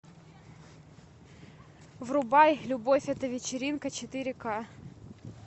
врубай любовь это вечеринка четыре к